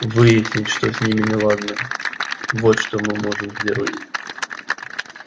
выяснить что с ними неладно вот что мы можем сделать